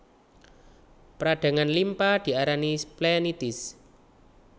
Peradangan limpa diarani splenitis